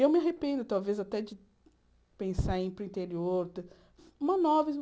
Eu me arrependo, talvez, até de pensar em ir para o interior. Monótono